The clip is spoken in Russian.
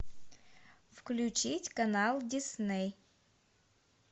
включить канал дисней